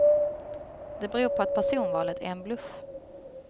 Det beror på att personvalet är en bluff.